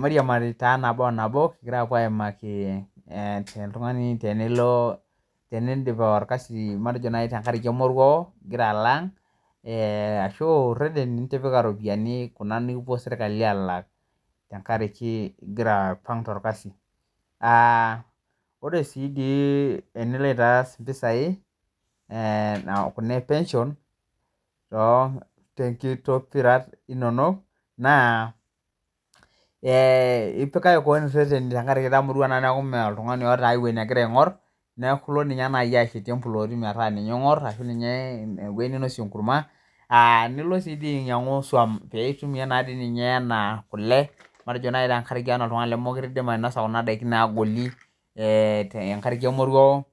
Mariamari taa nabo onabo kipo aimaki entungani tenilo, teniindim olkasi matejo naii tengaraki emoruao nigira alo aang' ashuu reteni nitipika iropiyiani, kuna nikipuo sirkali alaak tengaraki igira alo aipang' te ilkasi, kore sii enilo aitaas mpisai kuna epenshon te nkitokirat inono, naa ipikaki keon seseni tengaraki itamorua naaku mee iltungani oota aiweji nagira aingor, naaku ilo nai ninye ashetie impulooti metaa ninye ing'or ashu ninye eweji ninosie enkurmwa, nilo sii ninye ainyang'u isuom piitum naaji ninye enaaa kule, matejo naaii tanaa tengaraki oltungani le mokore eidim ainoso kuna daki naagoli tengaraki emoruao,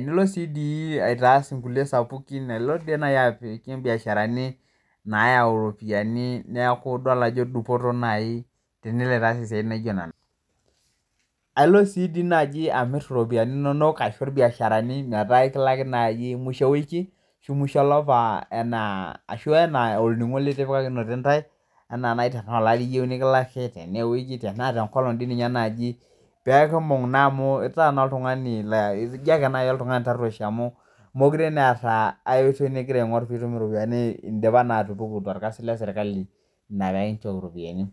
nilo sii dii aitaas nkule sapukin na ilo sii aitarunye nkule mbiasharani naayau iropoyiani naaku idol ajo dupoto naii tenilo aitaas siatin naijo nena. Ailo si dii naaji amir iropiyiani inonok aisho ilbiasharani metaa ekilaki naaji musho ewiki ashu musho elapa enaa ashu enaaa olning'o nitipakinote intae anaa te ilari iyeu nilikilaki tana te nkolong dei ninye naaji peekimbung' naa amu itaa naa iltungani naa ipijake ltungani tarueshi amu mekure naa eata aioitoi nigira aing'or piitum iropiyiani indipa naa atupuk te ilkasi le sirkali metaa ekinchooki iropiyiani.